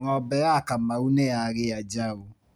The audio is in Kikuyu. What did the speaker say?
Ng'ombe ya kamau niyagĩa njaũ .